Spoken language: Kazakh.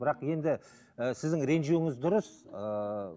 бірақ енді і сіздің ренжуіңіз дұрыс ыыы